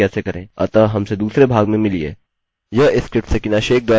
और मैं दिखाऊंगा कि कुकी को अनसेट कैसे करें